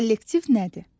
Kollektiv nədir?